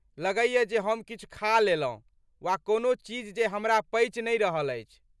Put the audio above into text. लगैये जे हम किछु खा लेलहुँ वा कोनो चीज जे हमरा पचि नै रहल अछि।